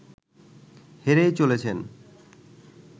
হেরেই চলেছেন